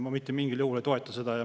Ma mitte mingil juhul ei toeta seda.